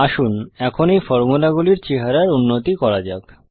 আসুন এখন এই ফর্মুলাগুলির চেহারার উন্নতি করা যাক